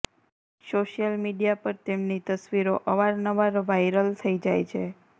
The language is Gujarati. સોશિયલ મીડિયા પર તેમની તસવીરો અવારનવાર વાયરલ થઈ જાય છે